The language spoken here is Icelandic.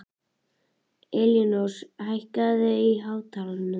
Elínrós, hækkaðu í hátalaranum.